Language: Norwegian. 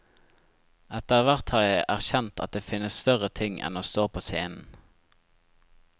Etterhvert har jeg erkjent at det finnes større ting enn å stå på scenen.